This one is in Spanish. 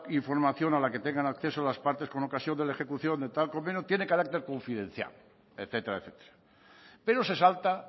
información a la que tengan acceso las partes con ocasión de ejecución de tal convenio tiene carácter confidencial etcétera etcétera pero se salta